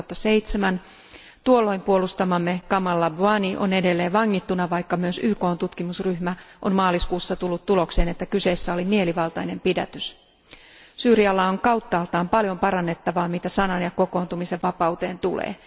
2007. Tuolloin puolustamamme Kamal Abwani on edelleen vangittuna vaikka myös YKn tutkimusryhmä on maaliskuussa tullut tulokseen, että kyseessä oli mielivaltainen pidätys. Syyrialla on kauttaaltaan paljon parannettavaa mitä sanan ja kokoontumisenvapauteen tulee.